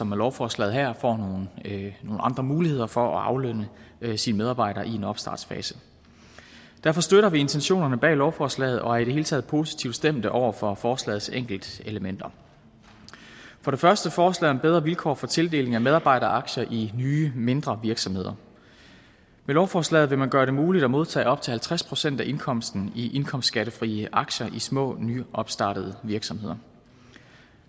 med lovforslaget her får nogle andre muligheder for at aflønne sine medarbejdere i en opstartsfase derfor støtter vi intentionerne bag lovforslaget og er i det hele taget positivt stemt over for forslagets enkeltelementer for det første foreslår man bedre vilkår for tildeling af medarbejderaktier i nye mindre virksomheder med lovforslaget vil man gøre det muligt at modtage op til halvtreds procent af indkomsten i indkomstskattefrie aktier i små nyopstartede virksomheder